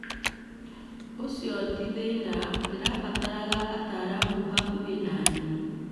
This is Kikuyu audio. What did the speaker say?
Ũcio ti thĩna, ndĩrabatara ataaramu hakuhĩ na niĩ